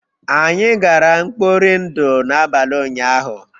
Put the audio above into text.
Anyị gara mkpọri ndụ n'abalị ụnyahụ